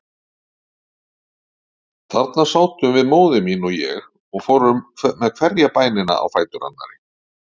Þarna sátum við, móðir mín og ég, og fórum með hverja bænina á fætur annarri.